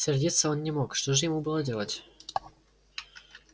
сердиться он не мог что же ему было делать